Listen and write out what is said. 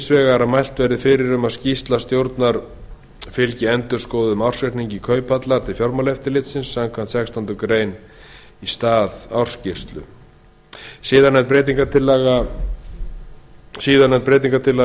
vegar að mælt verði fyrir um að skýrsla stjórnar fylgi endurskoðuðum ársreikningi kauphallar til fjármálaeftirlitsins samkvæmt sextándu grein í stað ársskýrslu síðarnefnd breytingartillaga er til